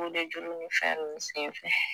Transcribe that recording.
kolejuru ni fɛn nunnu sen fɛ